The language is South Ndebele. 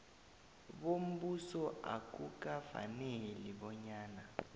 bombuso akukafaneli bonyana